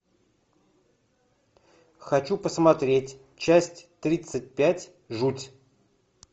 хочу посмотреть часть тридцать пять жуть